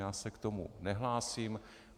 Já se k tomu nehlásím.